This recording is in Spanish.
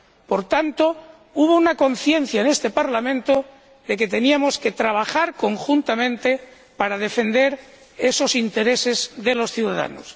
Por tanto, hubo una conciencia en este Parlamento de que teníamos que trabajar conjuntamente para defender esos intereses de los ciudadanos.